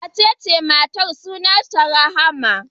Waccan matar sunanta Rahama.